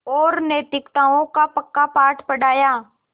और नैतिकताओं का पक्का पाठ पढ़ाया